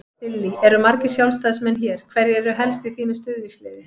Lillý: Eru margir Sjálfstæðismenn hér, hverjir eru helst í þínu stuðningsliði?